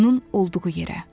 Onun olduğu yerə.